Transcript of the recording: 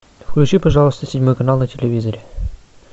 включи пожалуйста седьмой канал на телевизоре